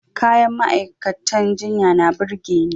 Kayan ma'aikatan jinya na burge ni.